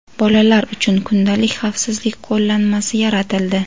Bolalar uchun kundalik xavfsizlik qo‘llanmasi yaratildi.